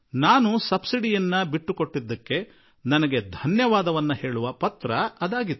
subsidy ಬಿಟ್ಟುಕೊಟ್ಟಿದ್ದಕ್ಕಾಗಿ ನನಗೆ ಈ ವಂದನಾಪೂರ್ವಕ ಪತ್ರ ದೊರೆಯಿತು